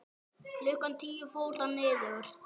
Klukkan tíu fór hann niður.